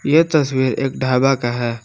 ये तस्वीर एक ढाबा का है।